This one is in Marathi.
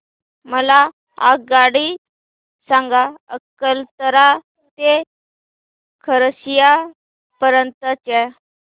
मला आगगाडी सांगा अकलतरा ते खरसिया पर्यंत च्या